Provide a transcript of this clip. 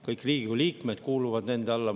Kõik Riigikogu liikmed kuuluvad nende alla.